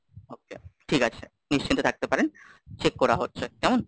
okay ঠিক আছে, নিশ্চিন্তে থাকতে পারেন চেক করা হচ্ছে, কেমন?